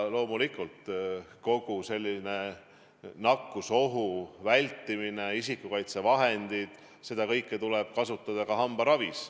Loomulikult, nakkusohu vältimine, isikukaitsevahendid – seda kõike tuleb kasutada ka hambaravis.